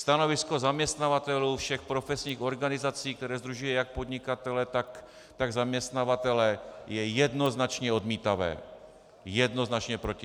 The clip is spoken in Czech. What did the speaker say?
Stanovisko zaměstnavatelů všech profesních organizací, které sdružují jak podnikatele, tak zaměstnavatele, je jednoznačně odmítavé, jednoznačně proti.